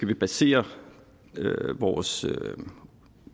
vi basere vores